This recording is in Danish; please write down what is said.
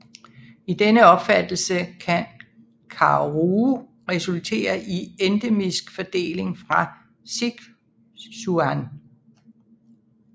I denne opfattelse kan Karuo resultere i endemisk fordeling fra Sichuan